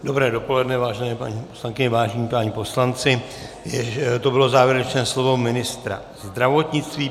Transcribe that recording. Dobré dopoledne, vážené paní poslankyně, vážení páni poslanci, to bylo závěrečné slovo ministra zdravotnictví.